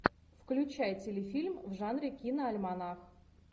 включай телефильм в жанре киноальманах